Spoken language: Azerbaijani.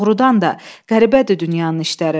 Doğrudan da qəribədir dünyanın işləri.